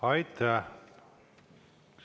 Aitäh!